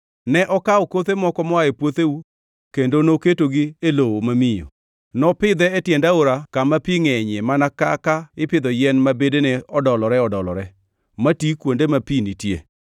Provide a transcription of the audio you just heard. “ ‘Ne okawo kothe moko moa e puotheu kendo noketogi e lowo mamiyo. Nopidhe e tiend aora kama pi ngʼenyie mana kaka ipidho yien ma bedene odolore-odolore mati kuode ma pi nitie,